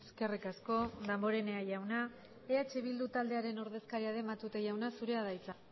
eskerrik asko damborenea jauna eh bildu taldearen ordezkaria den matute jauna zurea da hitza